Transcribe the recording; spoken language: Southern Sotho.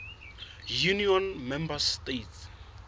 union member states